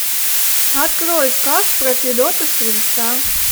открой сказ про федота стрельца